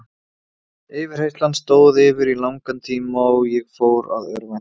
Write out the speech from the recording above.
Yfirheyrslan stóð yfir í langan tíma og ég fór að örvænta.